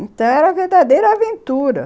Então, era a verdadeira aventura.